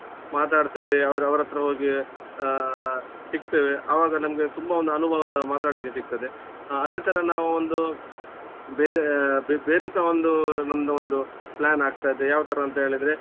ಮಾತಾಡ್ತೇವೆ ಅವರ್~ ಅವರ ಹತ್ರ ಹೋಗಿ ಆ ಸಿಕ್ತೇವೆ ಅವಾಗ ನಮ್ಗೆ ತುಂಬ ಒಂದು ಅನುಭವ ಮತಾಡ್ಲಿಕ್ಕೆ ಸಿಕ್ತದೆ. ಹಾ ಅದೇ ತರ ನಾವು ಒಂದು ಬೇರೆ ಬೆ~ ಬೇರೆಸ ಒಂದು ನಮ್ದೊಂದು plan ಆಗ್ತದೆ ಯಾವ್ತರ ಅಂತ ಹೇಳಿದ್ರೆ